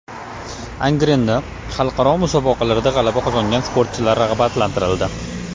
Angrenda xalqaro musobaqalarda g‘alaba qozongan sportchilar rag‘batlantirildi.